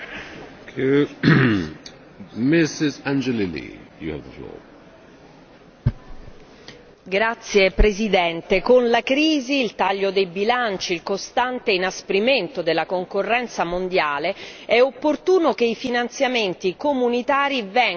Signor Presidente, con la crisi, il taglio dei bilanci e il costante inasprimento della concorrenza mondiale, è opportuno che i finanziamenti comunitari vengano utilizzati in modo mirato,